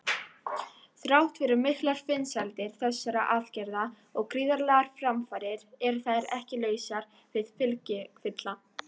Þrátt fyrir miklar vinsældir þessara aðgerða og gríðarlegar framfarir eru þær ekki lausar við fylgikvilla.